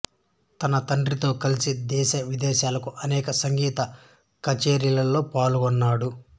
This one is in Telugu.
తన తండ్రితో కలిసి దేశ విదేశాలలో అనేక సంగీత కచేరీలలో పాల్గొన్నాడు